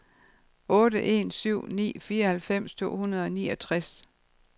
otte en syv ni fireoghalvfems to hundrede og niogtres